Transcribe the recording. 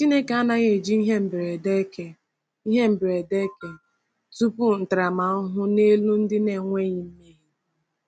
Chineke anaghị eji ihe mberede eke ihe mberede eke tụpụ ntaramahụhụ n’elu ndị na-enweghị mmehie.